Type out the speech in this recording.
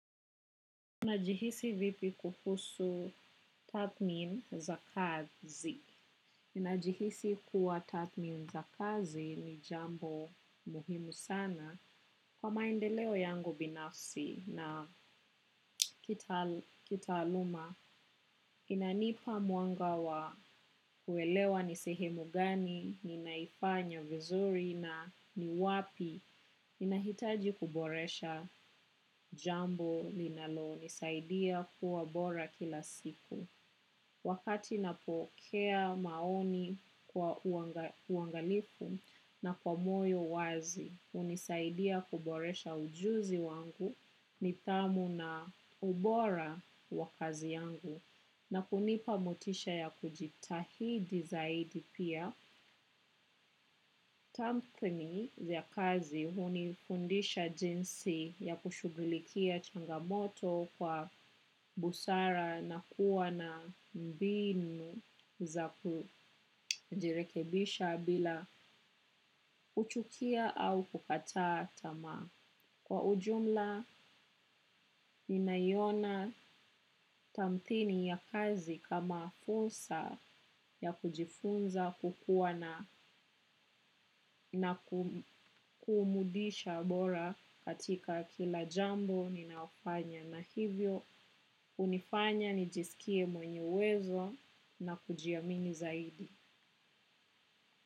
Najihisi vipi kuhusu tathmin za kazi. Minajihisi kuwa tatmin za kazi ni jambo muhimu sana. Kwa maendeleo yangu binafsi na kitaaluma, inanipa muanga wa uelewa ni sehemu gani, ninaifanya vizuri na ni wapi, ninahitaji kuboresha jambo linalo, nisaidia kuwa bora kila siku. Wakati napokea maoni kwa uangalifu na kwa moyo wazi, unisaidia kuboresha ujuzi wangu ni tamu na ubora wa kazi yangu. Na kunipa motisha ya kujitahidi zaidi pia, tampini ya kazi hunikundisha jinsi ya kushugulikia changamoto kwa busara na kuwa na mbinu za kujirekebisha bila kuchukia au kukata tamaa. Kwa ujumla, nina iona tamthini ya kazi kama fursa ya kujifunza kukuwa na kumudisha bora katika kila jambo nina fanya. Na hivyo, unifanya, nijisikie mwenye uwezo na kujiamini zaidi.